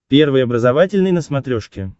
первый образовательный на смотрешке